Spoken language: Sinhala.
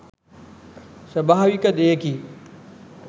ස්වභාවික දෙයකි.